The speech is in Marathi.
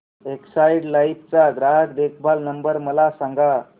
एक्साइड लाइफ चा ग्राहक देखभाल नंबर मला सांगा